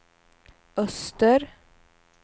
öster